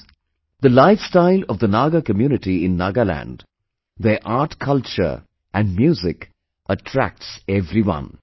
Friends, the lifestyle of the Naga community in Nagaland, their artculture and music attracts everyone